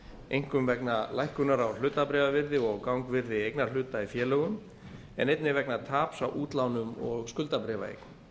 einkum vegna lækkunar á hlutabréfavirði og gangvirði eignarhluta í félögum en einnig vegna taps á útlánum og skuldabréfaeign